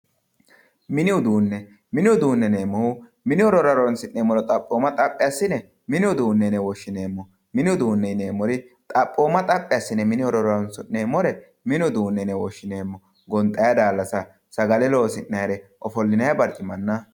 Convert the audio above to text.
mini uduunne mini uduunne yineemmore xaphooma xaphi assine mini uduunne yine woshshineemmo mini uduunne yineemmore xaphooma xaphi assine mini horora horoonsi'neemmore mini uduunne yine woshshineemmo sagale loosi'ayre gonxay daallasanna